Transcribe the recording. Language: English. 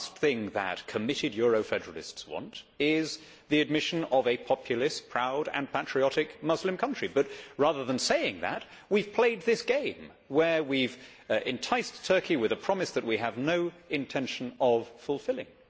The last thing that committed euro federalists want is the admission of a populous, proud and patriotic Muslim country but, rather than saying that, we have played this game where we have enticed Turkey with a promise that we have no intention of fulfilling.